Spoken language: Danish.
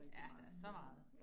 Ja, der så meget